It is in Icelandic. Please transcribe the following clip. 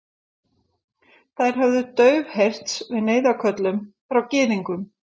Þær höfðu daufheyrst við neyðarköllum frá Gyðingum.